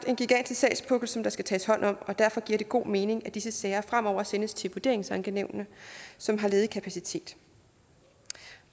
en gigantisk sagspukkel som der skal tages hånd om og derfor giver det god mening at disse sager fremover sendes til vurderingsankenævnene som har ledig kapacitet